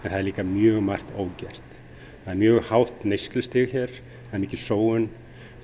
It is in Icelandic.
það er líka mjög margt ógert það er mjög hátt neyslustig hér það er mikil sóun